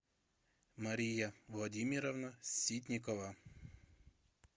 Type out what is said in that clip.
мария владимировна ситникова